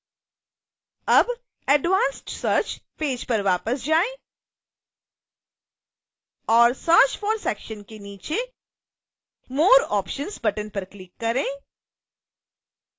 अब advanced search page पर वापस जाएं और search for सेक्शन के नीचे more options बटन पर क्लिक करें